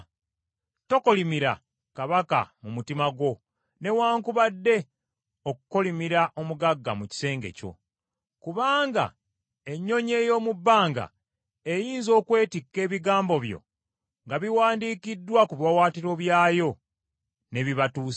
Tokolimira kabaka mu mutima gwo newaakubadde okukolimira omugagga mu kisenge kyo, kubanga ennyonyi ey’omu bbanga eyinza okwetikka ebigambo byo nga biwandiikiddwa ku biwaawaatiro byayo n’ebibatuusaako.